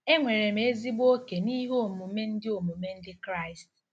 Enwere m ezigbo oke n'ihe omume Ndị omume Ndị Kraịst